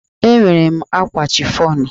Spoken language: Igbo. Enwere m ákwà chifọnụ.